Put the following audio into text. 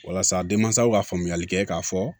Walasa denmansaw ka faamuyali kɛ k'a fɔ